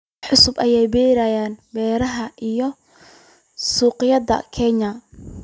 Waa cusub ayaa u beryay beeraha iyo suuqyada Kenya.